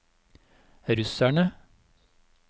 russerne